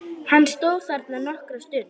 Hann stóð þarna nokkra stund.